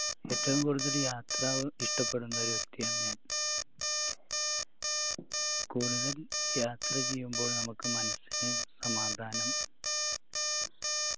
ഏറ്റവും കൂടുതൽ യാത്ര ഇഷ്ടപ്പെടുന്ന ഒരു വ്യക്തിയാണ് ഞാൻ കൂടുതൽ യാത്ര ചെയ്യുമ്പോൾ നമുക്ക് മനസ്സിന് സമാധാനം